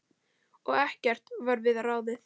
Og ekkert varð við ráðið.